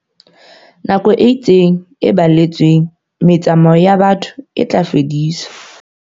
Nako e itseng e baletsweng motsa-mao wa batho e tla fediswa.